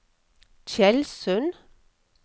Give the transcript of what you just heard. Tjeldsund